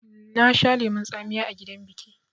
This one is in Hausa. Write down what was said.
Na sha lemon tsamiya a gidan biƙi